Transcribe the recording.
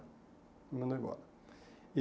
Me mandou embora. E